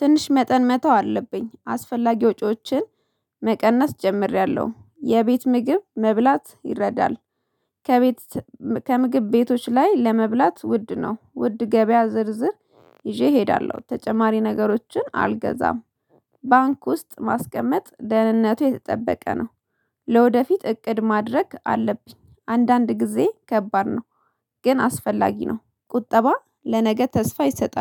ትንሽ መጠን መተው አለብኝ አስፈላጊ ወጪዎችን መቀነስ ጀምሬያለሁ የቤት ምግብ መብላት ይረዳል። ከቤት ከምግብ ቤቶች ላይ ለመብላት ውድ ነው ውድ ገበያ ዝርዝር ይዤ እሄዳለሁ ተጨማሪ ነገሮችን አልገዛም። ባንክ ውስጥ ማስቀመጥ ደህንነቱ የተጠበቀ ነው። ለወደፊት እቅድ ማድረግ አለብኝ አንዳንድ ጊዜ ከባድ ነው። ግን አስፈላጊ ነው ቁጠባ ለነገ ተስፋ ይሰጣል